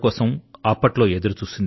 బయరూ అకారన్ సబ్ కాహూ సోం